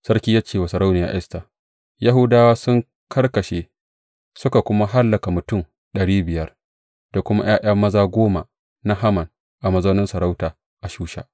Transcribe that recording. Sarki ya ce wa Sarauniya Esta, Yahudawa sun karkashe, suka kuma hallaka mutum ɗari biyar, da kuma ’ya’ya maza goma na Haman a mazaunin masarauta a Shusha.